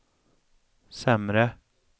sämre